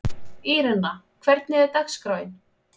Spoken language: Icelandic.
Írena, hvernig er dagskráin?